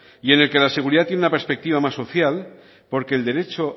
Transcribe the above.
y en el que la seguridad tiene una perspectiva más social porque el derecho